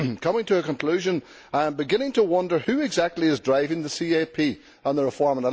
In conclusion, I am beginning to wonder who exactly is driving the CAP and the reform.